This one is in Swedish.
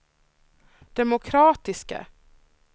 demokratiska